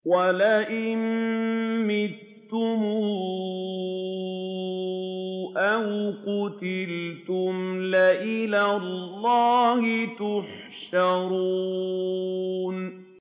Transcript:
وَلَئِن مُّتُّمْ أَوْ قُتِلْتُمْ لَإِلَى اللَّهِ تُحْشَرُونَ